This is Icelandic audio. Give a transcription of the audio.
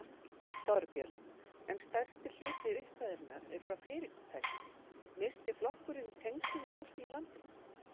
Þorbjörn: En stærsti hluti upphæðarinnar er frá fyrirtækjum, missti flokkurinn tengslin við fólkið í landinu?